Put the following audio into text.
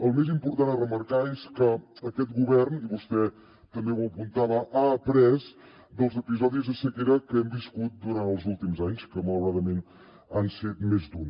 el més important a remarcar és que aquest govern i vostè també ho apuntava ha après dels episodis de sequera que hem viscut durant els últims anys que malauradament han set més d’un